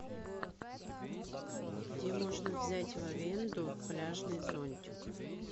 где можно взять в аренду пляжный зонтик